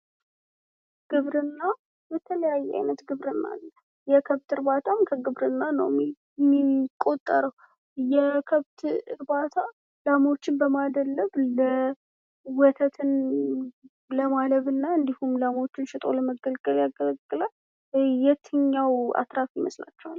ግብርና የተለያየ አይነት ግብርና አለ። የከብት እርባታም ከግብርና ነው የሚቆጠረው የከብት እርባታ ላሞችን በማደለብ ለወተት ለማለብ እና እንዲሁም ላሞችን ሸጦ ለመጠቀም ያገለግላል። የትኛው አትራፊ ይመስላችኋል?